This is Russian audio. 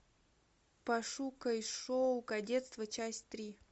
пошукай шоу кадетство часть три